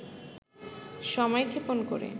সময়ক্ষেপণ করে